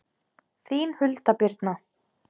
Þín Hulda Birna.